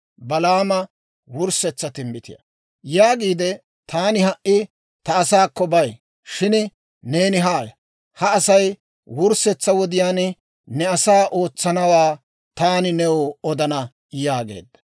Yaagiide, «Taani ha"i ta asaakko bay; shin neeni haaya; ha Asay wurssetsa wodiyaan ne asaa ootsanawaa taani new odana» yaageedda.